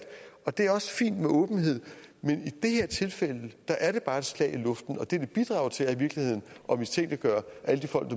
det er også fint med åbenhed men i det her tilfælde er det bare et slag i luften og det vil bidrage til at mistænkeliggøre alle de folk